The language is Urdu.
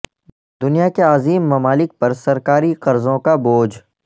دنیا کے عظیم ممالک پر سرکاری قرضوں کا بوجھ